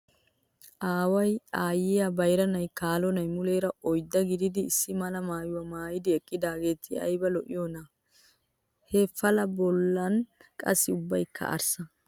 Aaway, aayyiyaa, bayiranne kaalo na''ayi muleera oyiddaa gididi issi mala maayyiwaa maayyidi eqqidaageti ayiba lo''iyoonaa! He pala bollan qassi ubbayikka arssa.